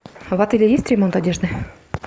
в отеле есть ремонт одежды